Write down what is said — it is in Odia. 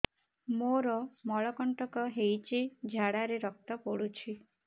ମୋରୋ ମଳକଣ୍ଟକ ହେଇଚି ଝାଡ଼ାରେ ରକ୍ତ ପଡୁଛି